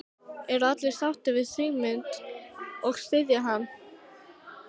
Eru allir sáttir við Sigmund og styðja hann?